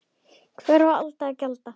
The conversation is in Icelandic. Hvers á Alda að gjalda?